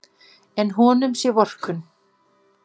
En honum sé vorkunn.